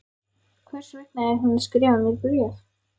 Hvers vegna er hún að skrifa mér bréf?